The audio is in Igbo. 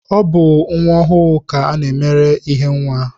Ọ bụ nwa ọhụụ ka a na-emere ihe nwa